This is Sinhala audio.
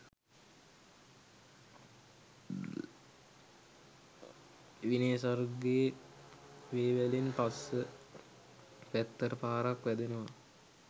විනේ සර්ගේ වේවැලෙන් පස්ස පැත්තට පාරක් වැදෙනවා